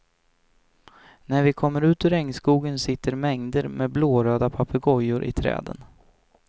När vi kommer ut ur regnskogen sitter mängder med blåröda papegojor i träden.